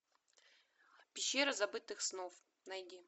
пещера забытых снов найди